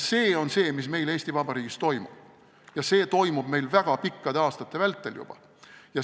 See on see, mis meil Eesti Vabariigis toimub, ja see on meil toimunud väga pikkade aastate vältel juba.